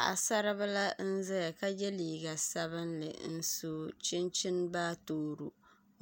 Paɣasaribili n ʒɛya ka yɛ liiga sabinli n so chinchin baatoro